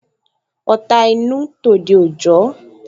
Ọ̀ta inú, tòde òjọ